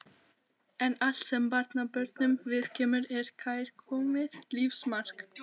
En allt sem barnabörnunum viðkemur er kærkomið lífsmark.